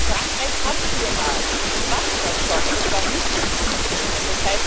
Frankreich hat PNR, die machen das schon, und es war nicht möglich, das zu verhindern.